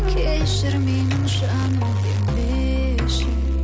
кешірмеймін жаным демеші